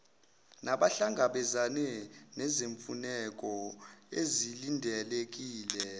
nabahlangabezana nezimfuneko ezilindelekile